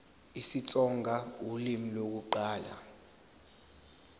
isitsonga ulimi lokuqala